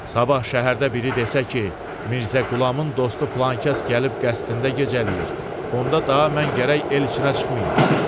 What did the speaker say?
Sabah şəhərdə biri desə ki, Mirzə Qulamın dostu filankəs gəlib qəsdində gecələyir, onda daha mən gərək elçinə çıxmayım.